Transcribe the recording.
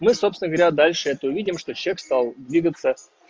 мы собственно говоря дальше это увидим что человек стал двигаться